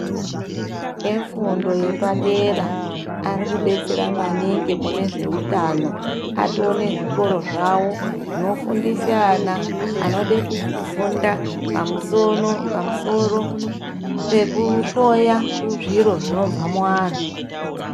Efundo yepadera ari kudetsera maningi mune zveutano. Atoo nezvikoro zvavo zvinofundisa ana anode kufunda pamusono pamusoro pekuhloya zviro zvinobva muantu.